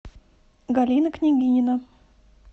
галина княгинина